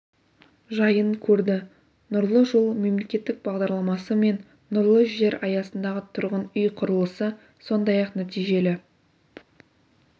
жайын көрді нұрлы жол мемлекеттік бағдарламасы мен нұрлы жер аясындағы тұрғын үй құрылысы сондай-ақ нәтижелі